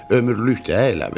Ömürlükdü elə bil.